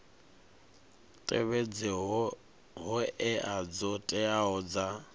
tevhedze hoea dzo teaho dza